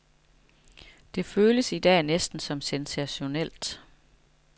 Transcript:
Det føles i dag næsten sensationelt.